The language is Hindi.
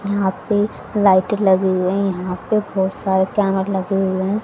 यहां पे लाइट लगी हुई यहां पे बहुत सारे कैमर लगे हुए है।